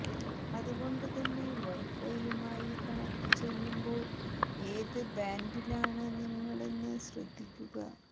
അതുകൊണ്ട് തന്നെ വൈഫൈയുമായി കണക്ട് ചെയ്യുമ്പോൾ ഏത് ബാൻഡിലാണ് നിങ്ങളെന്ന് ശ്രദ്ധിക്കുക